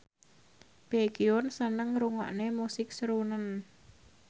Baekhyun seneng ngrungokne musik srunen